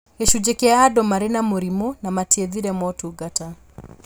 Gĩcunjĩ kĩa andũ marĩ na mĩrimũ na matiethire motungata